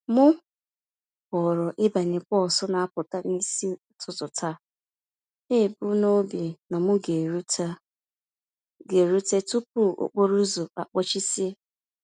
M họọrọ ịbanye bọs n'apụta n'isi ụtụtụ taa, nebum nobi na m g'eruta g'eruta tupu okporouzo akpochisie